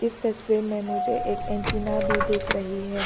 इस तस्वीर में मुझे एक एंटीना भी दिख रही है।